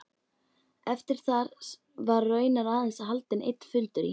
Eftir þar var raunar aðeins haldinn einn fundur í